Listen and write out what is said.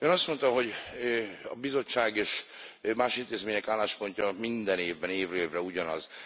Ön azt mondta, hogy a Bizottság és más intézmények álláspontja minden évben évről évre ugyanaz.